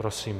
Prosím.